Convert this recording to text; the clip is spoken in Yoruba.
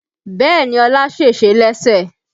Bẹ́ẹ̀ni Ọlá sèse lẹ́sẹ̀